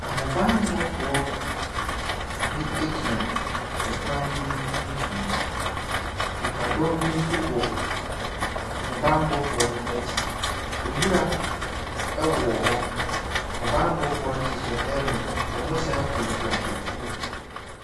Ahobanbɔfoɔ bi egyina ɛkwan bi mu mfimfinn. Nnipadɔm bi nso wɔ ahobanbɔfoɔ n'akyi. Nwura ɛwowɔ hɔ. Ahobanbɔfoɔ no hyehyɛ helmet. Wɔsan kura etuo.